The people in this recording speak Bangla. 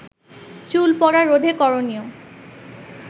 চুল পড়া রোধে করনীয়